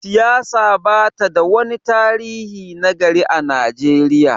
siyasa ba ta da wani tarihi na gari a Najeriya